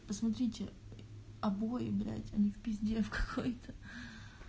посмотрите обои блять он в пизде в какой то